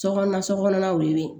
Sokɔnɔ sokɔnɔlaw ye